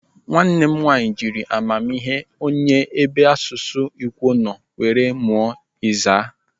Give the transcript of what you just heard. Nwanne m nwaanyị jiri amamihe onye n'ebe asụsụ Ikwo nọ were mụọ Izii.